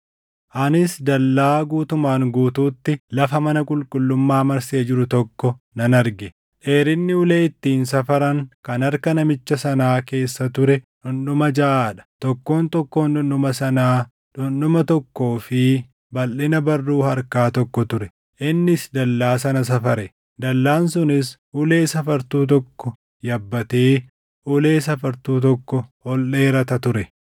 Anis dallaa guutumaan guutuutti lafa mana qulqullummaa marsee jiru tokko nan arge. Dheerinni ulee ittiin safaran kan harka namicha sanaa keessa ture dhundhuma jaʼaa dha; tokkoon tokkoon dhundhuma sanaa dhundhuma tokkoo fi balʼina barruu harkaa tokko ture. Innis dallaa sana safare; dallaan sunis ulee safartuu tokko yabbatee ulee safartuu tokko ol dheerata ture.